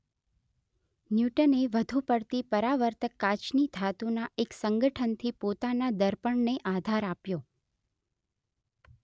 ન્યૂટને વધુ પડતી પરાવર્તક કાચની ધાતુના એક સંગઠનથી પોતાના દર્પણને આધાર આપ્યો